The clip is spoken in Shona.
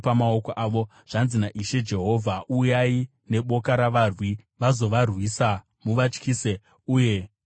“Zvanzi naIshe Jehovha: Uyai neboka ravarwi vazovarwisa muvatyise uye muvapambe.